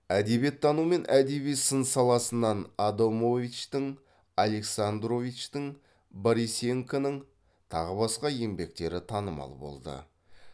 әдебиеттану мен әдеби сын саласынан адамовичтің александровичтің борисенконың тағы басқа еңбектері танымал болды